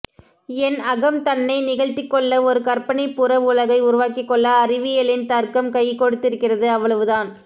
என் அகம் தன்னை நிகழ்த்திக்கொள்ள ஒரு கற்பனை புறவுலகை உருவாக்கிக்கொள்ள அறிவியலின் தர்க்கம் கைகொடுத்திருக்கிறது அவ்வளவுதான்